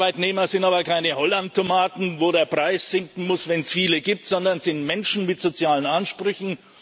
Arbeitnehmer sind aber keine Hollandtomaten, wo der Preis sinken muss, wenn es viele gibt, sondern es sind Menschen mit sozialen Ansprüchen.